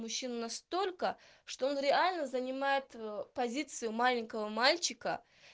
мужчину настолько что он реально занимает позицию маленького мальчика